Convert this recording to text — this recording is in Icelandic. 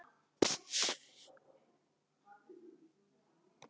Á ekki að gera það.